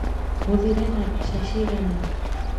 Mũthĩire na mbeca cigana